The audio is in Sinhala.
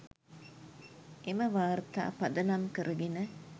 එම වාර්තා පදනම් කරගෙන